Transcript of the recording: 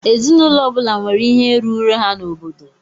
Ezinụlọ ọbula nwèrè ihe rụrụ ha n'obodo.